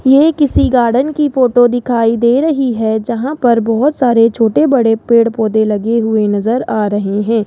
ये किसी गार्डन की फोटो दिखाई दे रही है जहां पर बहोत सारे छोटे बड़े पेड़ पौधे लगे हुए नज़र आ रहे हैं।